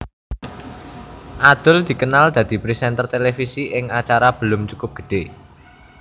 Adul dikenal dadi présènter televisi ing acara Belum Cukup Gede